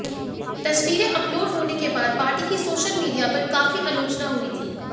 तस्वीरें अपलोड होने के बाद पार्टी की सोशल मीडिया पर काफी आलोचना हुई थी